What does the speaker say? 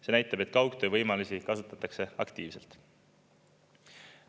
See näitab, et kaugtöö võimalusi kasutatakse aktiivselt.